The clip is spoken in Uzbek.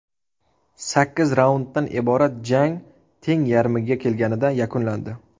Sakkiz raunddan iborat jang teng yarmiga kelganida yakunlandi.